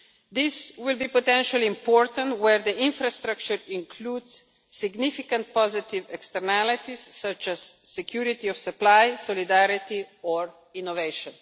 This will be potentially important where the infrastructure includes significant positive externalities such as security of supply, solidarity or innovation.